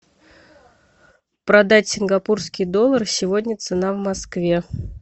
продать сингапурский доллар сегодня цена в москве